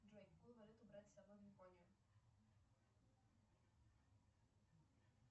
джой какую валюту брать с собой в японию